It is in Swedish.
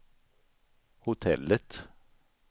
hotellet